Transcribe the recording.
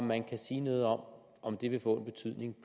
man sige noget om om det vil få en betydning